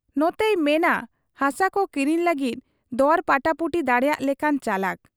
ᱱᱚᱛᱮᱭ ᱢᱮᱱᱟᱜ ᱟ ᱦᱟᱥᱟᱠᱚ ᱠᱤᱨᱤᱧ ᱞᱟᱹᱜᱤᱫ ᱫᱚᱨ ᱯᱟᱴᱟᱯᱩᱴᱤ ᱫᱟᱲᱮᱭᱟᱜ ᱞᱮᱠᱟᱱ ᱪᱟᱞᱟᱠ ᱾